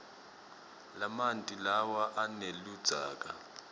lamanti lawa aneludzaka